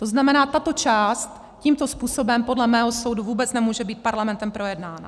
To znamená, tato část tímto způsobem podle mého soudu vůbec nemůže být Parlamentem projednána.